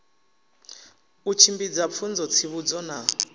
u tshimbidza pfunzo tsivhudzo na